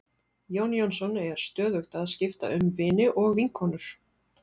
Jón Jónsson er stöðugt að skipta um vini og vinkonur.